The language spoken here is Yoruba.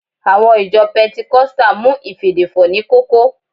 Àwọn ìjọ pẹntikọ́stà mú ìfèdèfọ̀ ní kókó